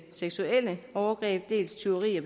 seksuelle overgreb dels tyveri